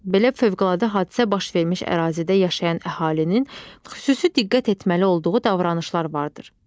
Belə fövqəladə hadisə baş vermiş ərazidə yaşayan əhalinin xüsusi diqqət etməli olduğu davranışlar vardır.